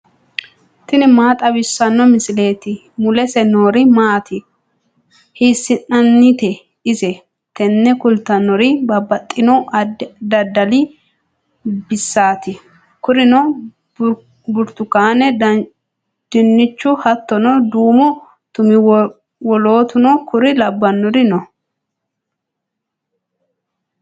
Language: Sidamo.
tini maa xawissanno misileeti ? mulese noori maati ? hiissinannite ise ? tini kultannori babbaxino daddali baseeti. kurino burtukaane dinnichu hattono duumu tumi wolootuno kuri labbannori no.